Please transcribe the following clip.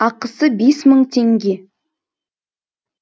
ақысы бес мың теңге